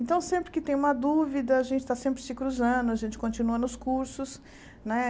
Então, sempre que tem uma dúvida, a gente está sempre se cruzando, a gente continua nos cursos, né?